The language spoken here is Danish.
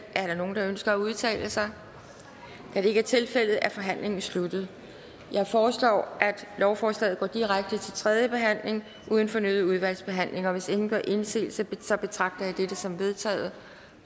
er der nogen der ønsker at udtale sig da det ikke er tilfældet er forhandlingen sluttet jeg foreslår at lovforslaget går direkte til tredje behandling uden fornyet udvalgsbehandling hvis ingen gør indsigelse betragter jeg dette som vedtaget